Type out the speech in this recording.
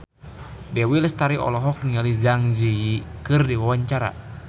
Dewi Lestari olohok ningali Zang Zi Yi keur diwawancara